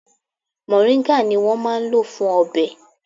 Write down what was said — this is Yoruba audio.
Mòríńgà ni wón máa ń lò fún ọbẹ̀.